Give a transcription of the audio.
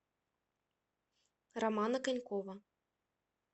романа конькова